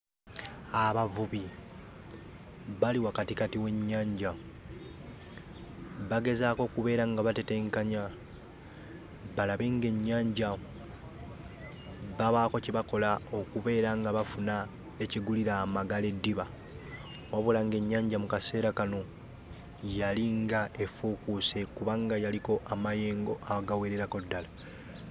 Abavubi bali wakatikati w'ennyanja, bagezaako okubeera nga batetenkanya balabe ng'ennyanja babaako kye bakola okubeera nga bafuna ekigulira Magala eddiba. Wabula ng'ennyanja mu kaseera kano yali ng'efuukuuse kubanga yaliko amayengo agawererako ddala.